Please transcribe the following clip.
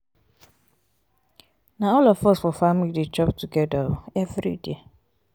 na all of us for family dey chop togeda um everyday